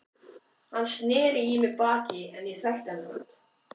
Hann sneri í mig baki en ég þekkti hann samt.